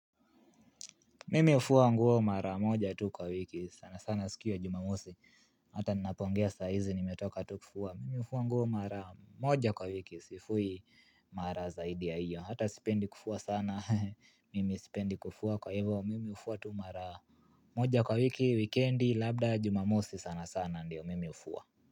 Mimi hufua nguo mara moja tu kwa wiki, sana sana siku ya jumamosi, hata ninapoongea saizi nimetoka tu kufua, mimi hufua nguo mara moja kwa wiki, sifui mara zaidi ya hiyo, hata sipendi kufua sana, mimi sipendi kufua kwa hivo, mimi hufua tu mara moja kwa wiki, wikendi, labda jumamosi sana sana ndiyo, mimi hufua.